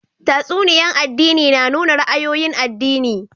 Tatsuniya'n addini na nuna ra'ayoyin addini.